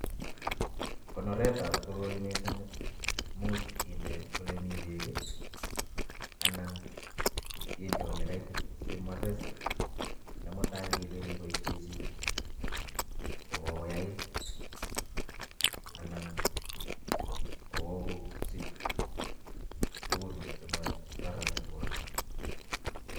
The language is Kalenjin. Kobiretab koroii mising imuch inde olemii beek anan inde olekaitit simores nemutai ng'ele keboishe chii ko kokoyait anan kokosich tukun chemokoron en borto.